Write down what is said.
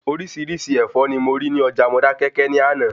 Orísirísi Ẹ̀fọ́ ni mo rí ní Ọjà Modákẹ́kẹ́ ni ana